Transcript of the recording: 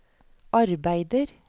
arbeider